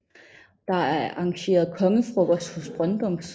Der er arrangeret kongefrokost hos Brøndums